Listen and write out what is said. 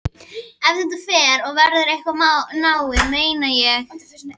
Ef þetta fer að verða eitthvað náið, meina ég.